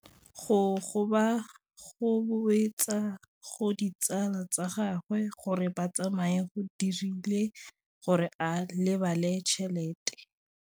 Go gobagobetsa ga ditsala tsa gagwe, gore ba tsamaye go dirile gore a lebale tšhelete.